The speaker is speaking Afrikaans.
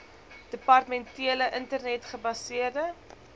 departementele internet gebaseerde